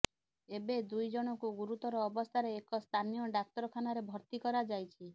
ଏବେ ଦୁଇ ଜଣଙ୍କୁ ଗୁରୁତର ଅବସ୍ଥାରେ ଏକ ସ୍ଥାନୀୟ ଡାକ୍ତରଖାନାରେ ଭର୍ତ୍ତି କରାଯାଇଛି